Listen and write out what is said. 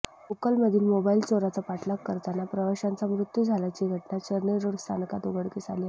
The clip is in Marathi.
लोकलमधील मोबाइल चोराचा पाठलाग करताना प्रवाशांचा मृत्यू झाल्याची घटना चर्नी रोड स्थानकात उघडकीस आली आहे